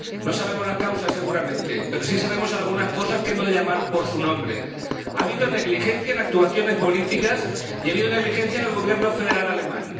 No sabemos las causas, seguramente, pero sí sabemos algunas cosas que hemos de llamar por su nombre ha habido negligencia en actuaciones políticas y ha habido negligencia en el Gobierno federal alemán